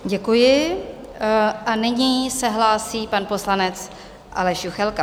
Děkuji a nyní se hlásí pan poslanec Aleš Juchelka.